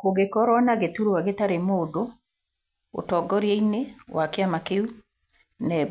Kũngĩkorwo na gĩturwa gĩtarĩ mũndũ ũtongoria-inĩ wa kĩama kĩu, NEB